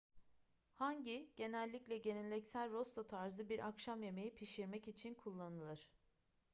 hangi genellikle geleneksel rosto tarzı bir akşam yemeği pişirmek için kullanılır